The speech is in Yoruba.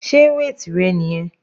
Sé weight rẹ niyẹn?